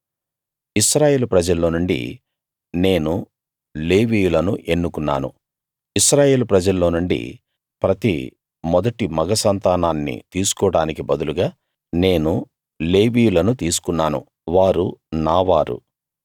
ఇశ్రాయేలు ప్రజల్లో నుండి నేను లేవీయులను ఎన్నుకున్నాను ఇశ్రాయేలు ప్రజల్లో నుండి ప్రతి మొదటి మగ సంతానాన్ని తీసుకోడానికి బదులుగా నేను లేవీయులను తీసుకున్నాను వారు నా వారు